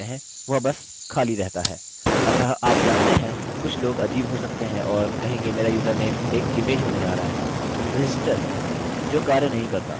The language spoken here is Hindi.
अतः आप जानते हैं कुछ लोग अजीब हो सकते हैं और कहेंगे मेरा username एक image होने जा रहा है register जो कार्य नहीं करता!